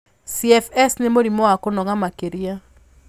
CFS nĩ mũrimũ wa kũnoga makĩria.